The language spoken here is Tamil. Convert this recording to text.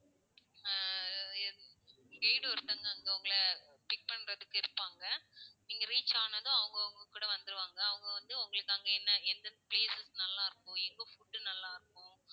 அஹ் எங்~ guide ஒருத்தவங்க அங்க உங்களை pick பண்றதுக்கு இருப்பாங்க. நீங்க reach ஆனதும் அவங்க உங்க கூட வந்துருவாங்க. அவங்க வந்து உங்களுக்கு அங்க என்ன எந்த places நல்லா இருக்கும்? எங்க food நல்லா இருக்கும்?